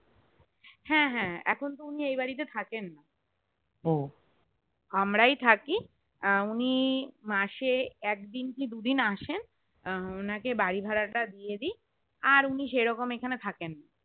হ্যাঁ হ্যাঁ এখন উনি এই বাড়িতে থাকেননা আমরাই থাকি উনি মাসে একদিন কি দুদিন আসেন ওনাকে বাড়িভাড়া তা ডিএডি আর উনি সেরোক্ষম এখানে থাকেননা